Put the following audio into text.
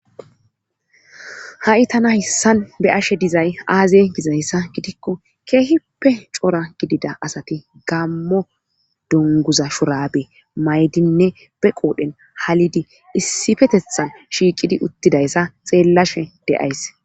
Ha7i tana hayssan be7ashe dizay aaze gizyssa gidikko keehippe cora gidida asati gaammo dungguza shuraabe mayidinne be qoodhen halidi issipetethan shiiqidi uttidayssa xeelashe de7ays.